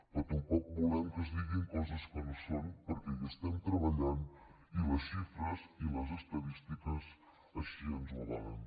però tampoc volem que es diguin coses que no són perquè hi estem treballant i les xifres i les estadístiques així ens ho avalen